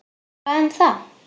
Hvað um það!